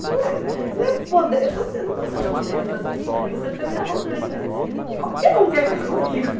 Não é não é mode eu estou sendo não estou sendo modesta, estou sendo até meio arrogante, mas qualquer um quer ficar comigo.